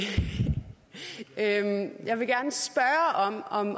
sætte at handle om